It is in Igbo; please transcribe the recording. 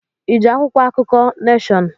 Iji akwụkwọ akụkọ Neshọn?